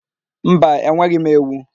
Mba, enweghị m ewu.